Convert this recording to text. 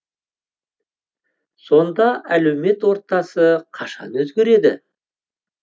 сонда әлеумет ортасы қашан өзгереді